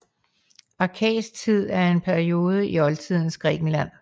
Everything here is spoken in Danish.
Arkaisk tid er en periode i oldtidens Grækenland